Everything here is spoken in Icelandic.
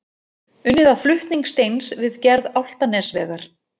Unnið að flutning steins við gerð Álftanesvegar.